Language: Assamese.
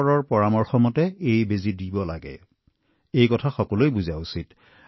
গতিকে সকলো মানুহে ইয়াক বুজি পোৱাটো অতি গুৰুত্বপূৰ্ণ